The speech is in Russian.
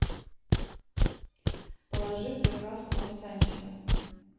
положи в заказ круассанчика